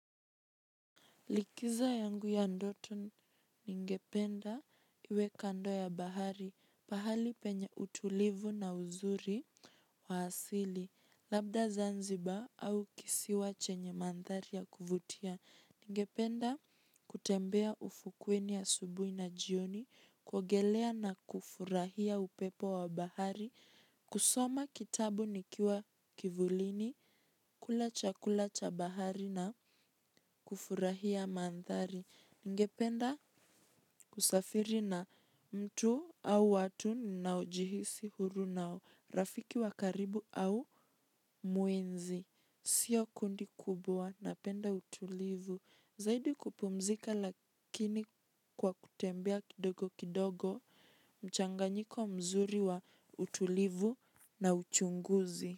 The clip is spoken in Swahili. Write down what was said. Likizo yangu ya ndoto ningependa iwe kando ya bahari, pahali penye utulivu na uzuri wa asili, labda Zanzibar au kisiwa chenye mandhari ya kuvutia. Ningependa kutembea ufukweni asubuhi na jioni, kuogelea na kufurahia upepo wa bahari, kusoma kitabu nikiwa kivulini, kula chakula cha bahari na kufurahia mandhari. Ningependa kusafiri na mtu au watu ninaojihisi huru nao, rafiki wa karibu au mwenzi. Sio kundi kubwa, napenda utulivu. Zaidi kupumzika lakini kwa kutembea kidogo kidogo, mchanganyiko mzuri wa utulivu na uchunguzi.